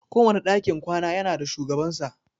Kowane dakin kwana ya na da shugabansa.